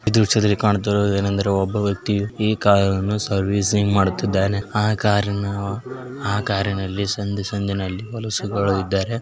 ಈ ಚಿತ್ರದಲ್ಲಿ ಕಾಣುತ್ತಿರುವುದು ಏನೆಂದರೆ ಒಬ್ಬ ವ್ಯಕ್ತಿ ಈ ಕಾರನ್ನು ಸರ್ವಿಸಿಂಗ್ ಮಾಡುತ್ತಿದ್ದಾನೆ ಆಕಾರನ್ನು ಆ ಕಾರಿನಲ್ಲಿ ಸಂಧಿ ಸಂಧಿನಲ್ಲಿ ಹೊಲಸು --